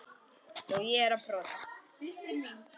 Með orf og ljá.